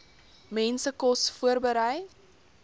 mense kos voorberei